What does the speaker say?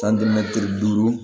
duuru